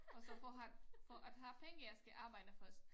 Og så for have for at have penge jeg skal arbejde først